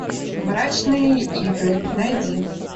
мрачные игры найди